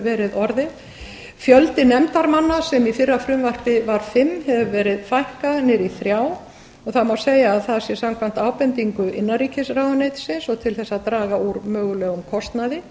verið orðið fjölda nefndarmanna sem í fyrra frumvarpi var fimm hefur verið fækkað niður í þrjá og það má segja að það sé samkvæmt ábendingu innanríkisráðuneytisins og til þess að draga úr mögulegum kostnaði